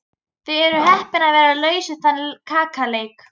Þið eruð heppin að vera laus við þann kaleik.